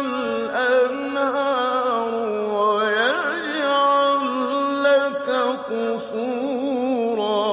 الْأَنْهَارُ وَيَجْعَل لَّكَ قُصُورًا